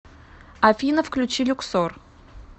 афина включи люксор